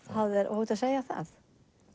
óhætt að segja það